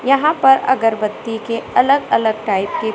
यहां पर अगरबत्ती के अलग अलग टाइप के--